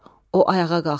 O ayağa qalxdı.